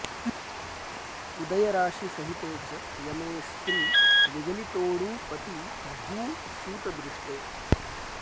उदयराशि सहिते च यमे स्त्री विगलितोडु पति भू सुतदृष्टे